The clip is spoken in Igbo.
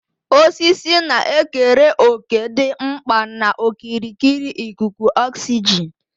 Osisi na-ekere òkè dị mkpa na okirikiri ikuku oxygen.